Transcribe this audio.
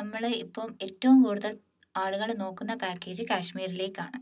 നമ്മൾ ഇപ്പം ഏറ്റവും കൂടുതൽ ആളുകൾ നോക്കുന്ന package കാശ്മീറിലേക്കാണ്